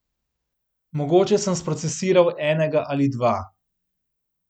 Mogoče sem sprocesiral enega ali dva.